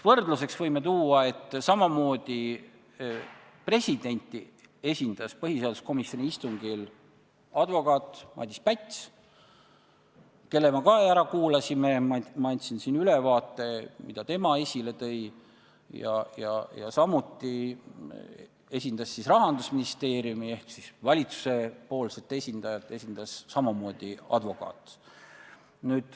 Võrdluseks võime tuua, et nii nagu presidenti esindas põhiseaduskomisjoni istungil advokaat Madis Päts, kelle me ära kuulasime ja kelle esile toodust ma ülevaate andsin, esindas ka Rahandusministeeriumi ehk valitsuse esindajat advokaat.